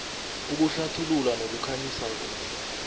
ukuhlathulula nokukhanyisa kuhle